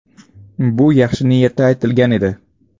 Bu yaxshi niyatda aytilgan edi.